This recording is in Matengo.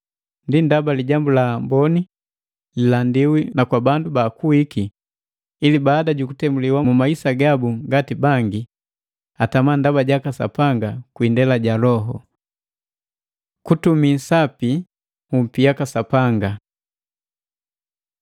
Ndi ndaba Lijambu la Amboni lilandiwi nakwa bandu baakuwiki, ili baada jukutemuliwa mu maisa gabu ngati bangi, atama ndaba jaka Sapanga kwi indela ja Loho. Kutumi sapi nhupi yaka Sapanga